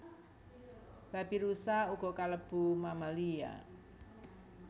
Babirusa uga kalebu mammalia